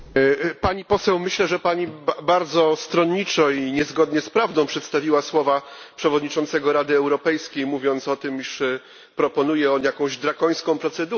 Pani Poseł, myślę, że Pani bardzo stronniczo i niezgodnie z prawdą przedstawiła słowa przewodniczącego Rady Europejskiej mówiące o tym, iż proponuje on jakąś drakońską procedurę.